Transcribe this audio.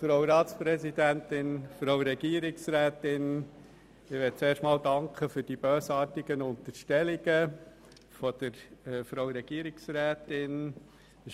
Ich danke zuerst einmal für die bösartigen Unterstellungen von Frau Regierungsrätin Egger.